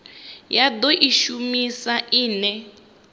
ya do i shumisa ine